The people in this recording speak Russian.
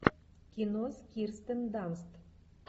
кино с кирстен данст